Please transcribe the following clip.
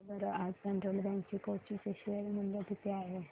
सांगा बरं आज फेडरल बँक कोची चे शेअर चे मूल्य किती आहे